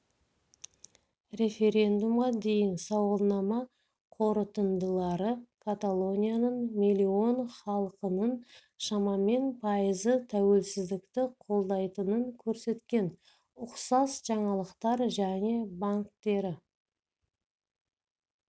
референдумға дейін сауалнама қорытындылары каталонияның миллион халқының шамамен пайызы тәуелсіздікті қолдайтынын көрсеткен ұқсас жаңалықтар және банктері